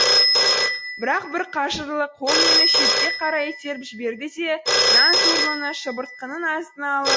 бірақ бір қажырлы қол мені шетке қарай итеріп жіберді де нан сорлыны шыбыртқының астына алып